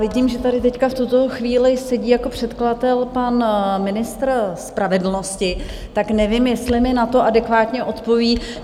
Vidím, že tady teď v tuto chvíli sedí jako předkladatel pan ministr spravedlnosti, tak nevím, jestli mi na to adekvátně odpoví.